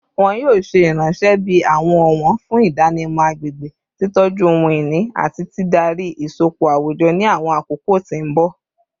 Wọn yoo ṣe iranṣẹ bi awọn ọwọn fun idanimọ agbegbe, titọju ohun-ini, ati didari isọpọ awujọ ni awọn akoko ti mbọ